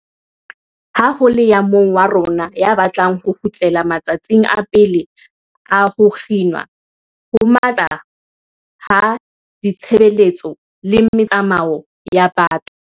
Ha ho le ya mong wa rona ya batlang ho kgutlela ma tsatsing a pele a ho kginwa ho matla ha ditshebeletso le metsamao ya batho.